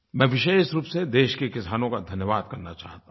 मैं विशेष रूप से देश के किसानों का धन्यवाद करना चाहता हूँ